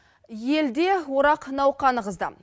елде орақ науқаны қызды